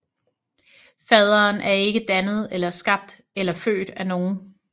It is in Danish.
Faderen er ikke dannet eller skabt eller født af nogen